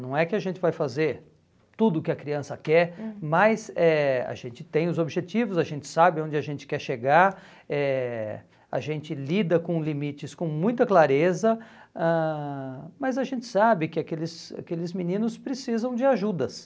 Não é que a gente vai fazer tudo o que a criança quer, uhum, mas eh a gente tem os objetivos, a gente sabe onde a gente quer chegar, eh a gente lida com limites com muita clareza, ãh mas a gente sabe que aqueles aqueles meninos precisam de ajudas.